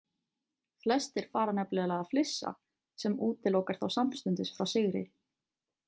Flestir fara nefnilega að flissa sem útilokar þá samstundis frá sigri.